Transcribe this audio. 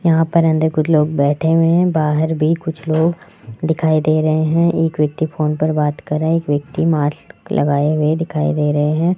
यहां पर अंदर कुछ लोग बैठे हुए हैं बहार भी कुछ लोग दिखाई दे रहे हैं एक व्यक्ति फोन पर बात कर रहा है एक व्यक्ति मास्क लगाए दिखाई दे रहे हैं।